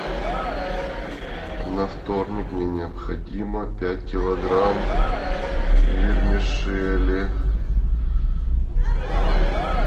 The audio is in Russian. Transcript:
на вторник мне необходимо пять килограмм вермишели